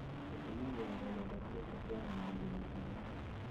ũtũmagira rũrenda rũrĩkũ kwaranĩria na arata